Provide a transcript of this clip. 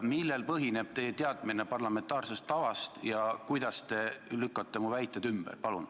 Millel põhineb teie teadmine parlamentaarsest tavast ja kuidas te lükkate mu väited ümber?